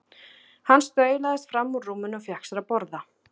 Hann staulaðist fram úr rúminu og fékk sér að borða.